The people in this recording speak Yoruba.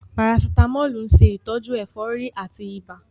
Parasitamọ́ọ̀lù ń ṣe ìtọ́jú ẹ̀fọ́rí àti ibà.